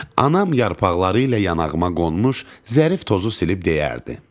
Anam yarpaqları ilə yanağıma qonmuş zərif tozu silib deyərdi: